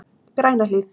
Grænahlíð